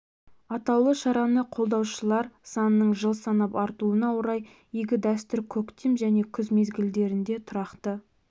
атаулы шараны қолдаушылар санының жыл санап артуына орай игі дәстүр көктем және күз мезгілдерінде тұрақты